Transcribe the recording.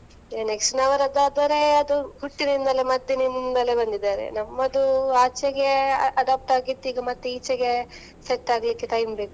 Next ನವರದ್ದು ಆದರೆ ಅದು ಹುಟ್ಟಿನಿಂದಲೇ ಮದ್ದಿನಿಂದಲೇ ಬಂದಿದಾರೆ, ನಮ್ಮದು ಆಚೆಗೆ adopt ಆಗಿತ್ತು ಮತ್ತೆ ಈಚೆಗೆ set ಆಗ್ಲಿಕ್ಕೆ time ಬೇಕು.